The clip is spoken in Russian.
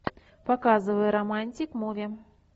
показывай романтик муви